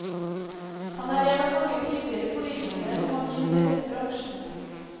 Han er en av mange tidligere politiker som har begynt i denne bransjen.